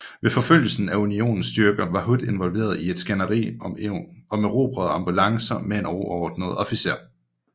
Ved forfølgelsen af Unionens styrker var Hood involveret i et skænderi om erobrede ambulancer med en overordnet officer